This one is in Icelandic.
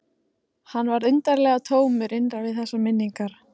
Hann varð undarlega tómur innra við þessar minningar.